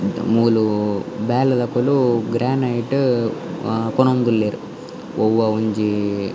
ಮೂಲು ಬೇಲೆದಕುಲು ಗ್ರಾನೈಟ್ ಕೊನೊವೊಂದುಲ್ಲೆರ್ ಒವಾ ಒಂಜಿ.